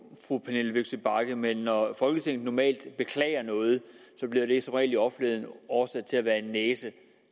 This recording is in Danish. fru pernille vigsø bagge men når folketinget normalt beklager noget bliver det som regel i offentligheden oversat til at være en næse